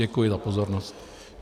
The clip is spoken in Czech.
Děkuji za pozornost.